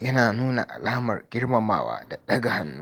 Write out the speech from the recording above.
yana nuna alamar girmamawa da ɗaga hannu.